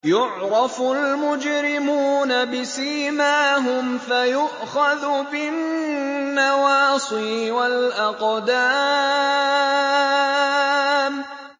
يُعْرَفُ الْمُجْرِمُونَ بِسِيمَاهُمْ فَيُؤْخَذُ بِالنَّوَاصِي وَالْأَقْدَامِ